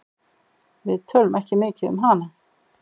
Við tölum ekki mikið um hana.